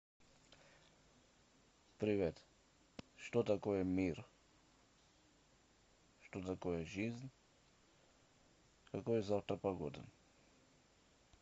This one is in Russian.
привет что такое мир что такое жизнь какая завтра погода